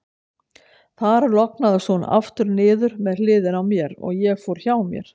Þar lognaðist hún aftur niður með hliðinni á mér, og ég fór hjá mér.